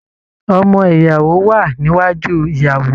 Ọmọ ìyàwó wà níwájú ìyàwó.